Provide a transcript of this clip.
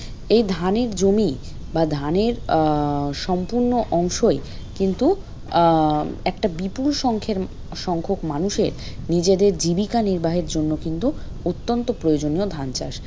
এই ধানের জমি বা ধনের আহ সম্পূর্ণ অংশই কিন্তু আহ একটা বিপুলসংখ্যের সংখ্যক মানুষের নিজেদের জীবিকা নির্বাহের জন্য কিন্তু অত্যন্ত প্রয়োজনীয় ধান চাষ।